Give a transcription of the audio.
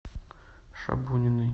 шабуниной